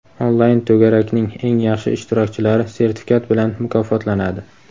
"Onlayn to‘garak"ning eng yaxshi ishtirokchilari sertifikat bilan mukofotlanadi.